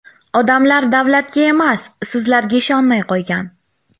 Odamlar davlatga emas, sizlarga ishonmay qo‘ygan.